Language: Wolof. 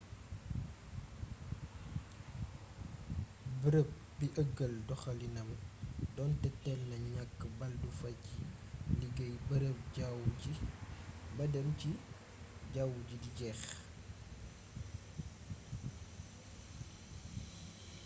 bërëb bi eugueul doxalinam donte téel na ñakk baldufa ci liggéey bërëb jawwu ji ba dem ci jawwu di jex